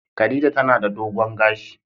Khadijah tana da dogon gashi.